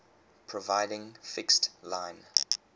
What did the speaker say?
providing fixed line